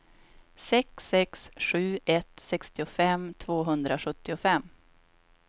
sex sex sju ett sextiofem tvåhundrasjuttiofem